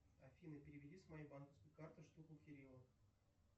афина переведи с моей банковской карты штуку кириллу